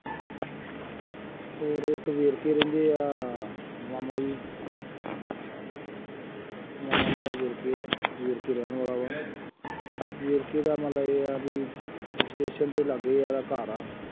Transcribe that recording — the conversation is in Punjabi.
ਹੋਰ ਇੱਕ ਵੇਰਕੇ ਰਹਿੰਦੇ ਆ, ਮਾਮਾ ਜੀ, ਮਾਮਾ ਮੇਰਾ ਵੇਰਕੇ ਆ, ਵੇਰਕੇ ਰਹਿਣ ਵਾਲਾ ਆ, ਵੇਰਕੇ ਦਾ ਮੰਨ ਲਾ ਇਹ ਆ ਬਈ ਸਟੇਸ਼ਨ ਦੇ ਲਾਗੇ ਉਹਦਾ ਘਰ ਆ,